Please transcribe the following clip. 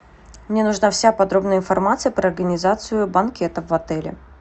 мне нужна вся подробная информация про организацию банкетов в отеле